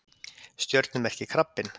Stjörnumerkið krabbinn.